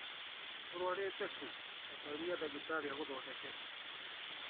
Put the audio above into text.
Ũrwarĩte kũ ta tarĩria dagĩtarĩ agũthondeke